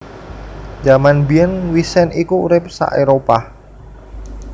Jaman mbiyèn wisent iku urip sa Éropah